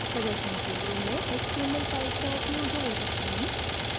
प्रदर्शन के लिए मैं html files का उपयोग जारी रखूँगी